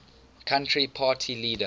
country party leader